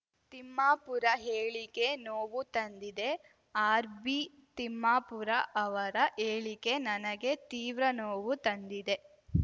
ತಿಮ್ಮಾಪುರ ಹೇಳಿಕೆ ನೋವು ತಂದಿದೆ ಆರ್‌ಬಿತಿಮ್ಮಾಪುರ ಅವರ ಹೇಳಿಕೆ ನನಗೆ ತೀವ್ರ ನೋವು ತಂದಿದೆ